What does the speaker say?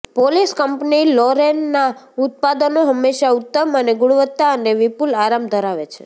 polish company લોરેનના ઉત્પાદનો હંમેશા ઉત્તમ અને ગુણવત્તા અને વિપુલ આરામ ધરાવે છે